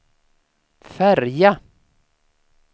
färja